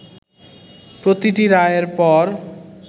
প্রতিটি রায়ের পর